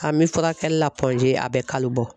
An bɛ furakɛli la a bɛ kalo bɔ.